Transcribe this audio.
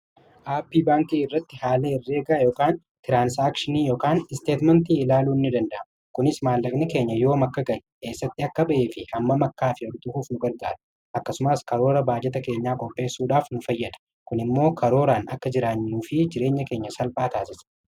aappi baankii irratti haala irreegaa yk tiraansaakshiniiykn isteetmentii ilaaluu ni dandamu kunis maallaqni keenya yoom akka gale, eessatti akka ba'ee fi hamma m akkaa fi hordofuuf nu gargaara akkasumaas karoora baajeta keenyaa qopheessuudhaaf nufayyada kun immoo karooraan akka jiraannuu fi jireenya keenya salphaa taasise